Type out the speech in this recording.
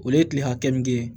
O ye tile hakɛ min kɛ